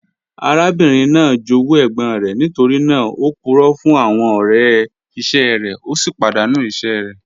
Arábìnrin naá jówú ègbòn rẹ̀, nítorí naà ó púrọ̀ fún àwọn ọ̀rẹ̀ iṣẹ rẹ̀, o sì padàńú iṣẹ̀ rẹ̀.